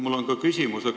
Mul on ka küsimus.